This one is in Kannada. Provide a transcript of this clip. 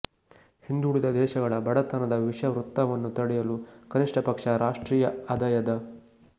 ಹಿಂದುಳಿದ ದೇಶಗಳ ಬಡತನದ ವಿಷವೃತ್ತವನ್ನು ತಡೆಯಲು ಕನಿಷ್ಟಪಕ್ಷ ರಾಷ್ಟೀಯ ಆದಯದ